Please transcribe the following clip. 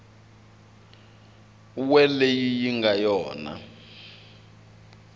we leyi yi nga yona